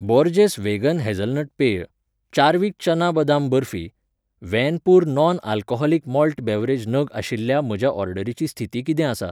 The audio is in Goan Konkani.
बोर्जेस वेगन हेझलनट पेय, चार्विक चना बदाम बर्फी, Van Pur non alcoholic malt beverage नग आशिल्ल्या म्हजे ऑर्डरीची स्थिती किदें आसा